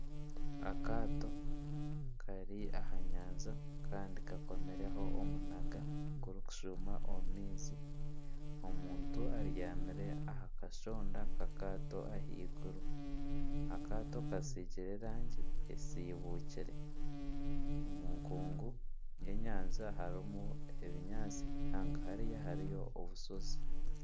Akaato kari aha nyanja kandi kakomireho omunaga gurikushuuma omu maizi. Omuntu abyamire aha kashonda kakaato ahaiguru. Akaato kasiigire erangi esiibukire. Omu nkungu y'enyanja hariho ebinyaatsi, hanga hariya hariyo obushozi.